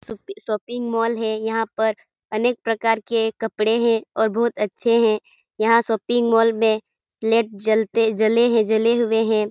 Shopping shopping mall है यहाँ पर अनेक प्रकार के कपड़े है और बहुत अच्छे है यहाँ शॉपिंग मॉल में लाइट जलते लाइट जले हैं जले हुए है।